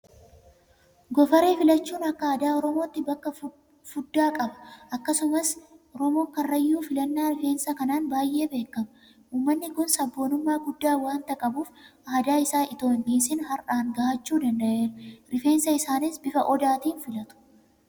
Goofaree filachuun akka aadaa oromootti bakka fuddaa qaba. Keessumaa oromoon karrayyuu Filannaa rifeensaa kanaan baay'ee beekama. Uummanni kun sabboonummaa guddaa waanta qabuuf aadaa isaa itoo hindhiisin har'aan gahachuu danda'eera. Rifeensa isaaniis bifa Odaatiin filatu.